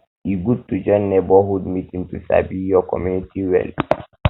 um e good to join neighborhood meeting to sabi your um community well um well